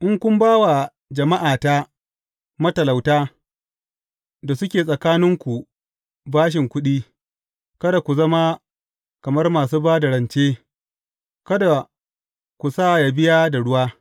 In kun ba wa jama’ata matalauta da suke tsakaninku bashin kuɗi, kada ku zama kamar masu ba da rance; kada ku sa yă biya da ruwa.